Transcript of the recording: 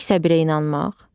Tək səbirə inanmaq.